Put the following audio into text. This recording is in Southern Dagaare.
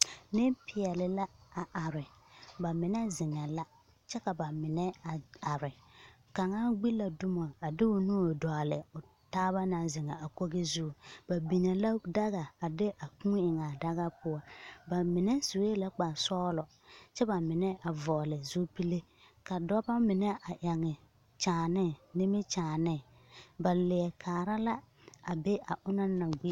Nempeɛle la a are. Ba mine zeŋɛɛ la kyɛ ka ba mine a are Kaŋa gbi la dumo a de o nuuri dɔgele o taaba naŋ zeŋaa a kogi zuŋ. Ba binnee la daga a de a kūū eŋaa daga poɔ. Ba mine sue kpar sɔglɔ kyɛ ka ba mine kyɛ ba mine a vɔgele zupile. Ka dɔba mine eŋe kyaane nimikyaane. Ba leɛ kaara la a be a onaŋ naŋ be.